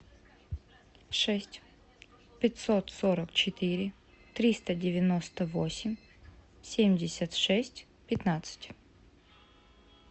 шесть пятьсот сорок четыре триста девяносто восемь семьдесят шесть пятнадцать